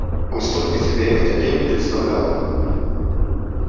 он столько себе этот день представлял